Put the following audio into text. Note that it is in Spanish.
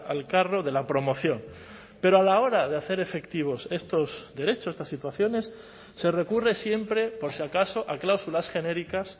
al carro de la promoción pero a la hora de hacer efectivos estos derechos estas situaciones se recurre siempre por si acaso a cláusulas genéricas